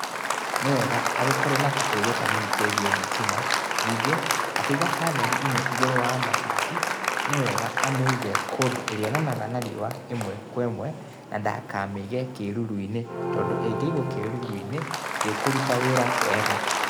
Nĩ wega agĩkorwo na kaũgiĩ kanini kegiĩ thĩtima ningiĩ, akiĩga pannel ĩno ĩgũrũ wa mabati nĩ wega amiĩge kũndũ ĩrĩonanaga na rĩũa ĩmwe kwa ĩmwe na ndakamiĩge kiĩrũrũ-inĩ tondũ ĩngĩigwo kĩrũrũ-inĩ ndĩkũrũta wĩra wega.